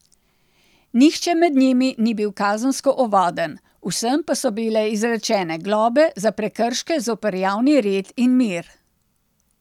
Nihče med njimi ni bil kazensko ovaden, vsem pa so bile izrečene globe za prekrške zoper javni red in mir.